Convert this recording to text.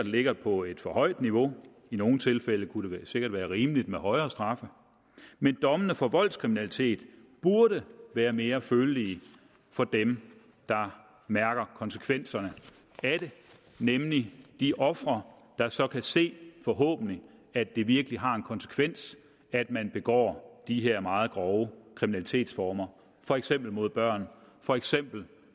ligger på et for højt niveau i nogle tilfælde kunne det sikkert være rimeligt med højere straffe men dommene for voldskriminalitet burde være mere følelige for dem der mærker konsekvenserne af det nemlig de ofre der så kan se forhåbentlig at det virkelig har en konsekvens at man begår de her meget grove kriminalitetsformer for eksempel mod børn for eksempel